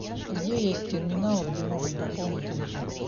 где есть терминал где можно пополнить телефон